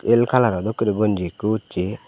el color o dokkey guri gunji ekku ussey.